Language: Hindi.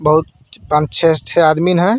बहुत पांच छे छे आदमिन है.